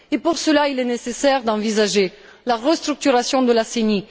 Pour cela, il est nécessaire d'envisager la restructuration de la CENI.